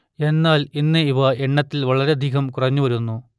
എന്നാൽ ഇന്ന് ഇവ എണ്ണത്തിൽ വളരെയധികം കുറഞ്ഞു വരുന്നു